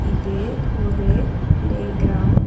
இது ஒரு playground .